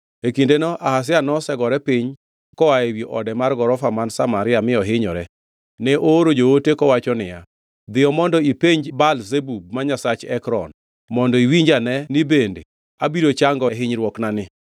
E kindeno Ahazia nosegore piny koa ewi ode mar gorofa man Samaria mi ohinyore, ne ooro joote kowacho niya, “Dhiyo mondo ipenj Baal-Zebub ma nyasach Ekron, mondo iwinji ane ni bende abiro chango e hinyruoknani.”